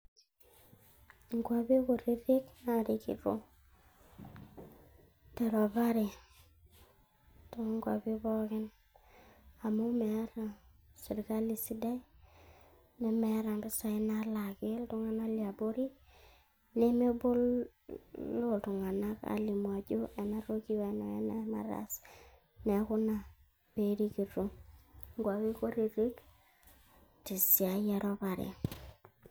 Enkuapi kutitik naarikito teropare too nkuapi pooki Amu meeta sirkali sidai nemeeta impisai nalaaki iltung'anak liabori nemeboloo iltung'anak aajo ena toki weena weena nataase neaku Ina peerikito inguapi kutitik tesiadi eropare